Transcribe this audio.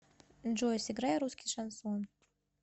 джой сыграй русский шансон